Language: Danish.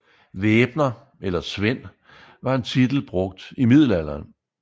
Væbner eller svend var en titel brugt i middelalderen